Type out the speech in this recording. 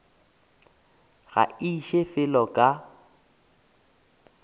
ga ke iše felo ka